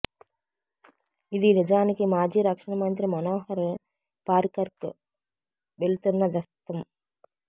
ఇది నిజానికి మాజీ రక్షణ మంత్రి మనోహర్ పారికర్కు వెళ్తున్న దస్త్రం